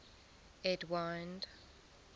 edwind